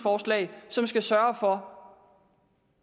jeg synes